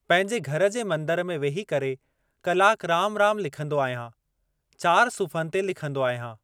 पंहिंजे घर जे मंदरु में वेही करे कलाक राम राम लिखंदो आहियां। चारि सुफ़्हनि ते लिखंदो आहियां।